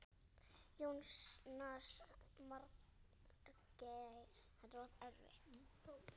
Jónas Margeir Ingólfsson: Sveik ríkisstjórnin ykkur?